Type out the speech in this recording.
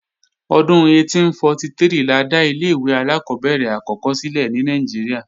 Ọdún 1843 la dá ilé-ìwé alákọ́bẹ̀rẹ̀ àkọ́kọ́ sílẹ̀ ní Nàìjíríà